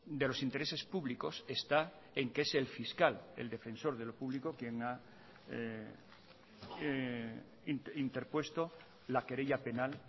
de los intereses públicos está en que es el fiscal el defensor de lo público quien ha interpuesto la querella penal